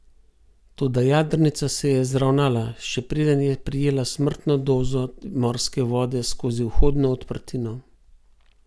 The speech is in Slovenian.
Toda jadrnica se je zravnala, še preden je prejela smrtno dozo morske vode skozi vhodno odprtino.